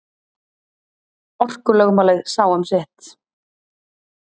Orkulögmálið sá um sitt.